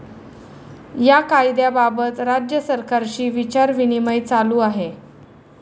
या कायद्याबाबत राज्य सरकारशी विचारविनिमय चालू आहे.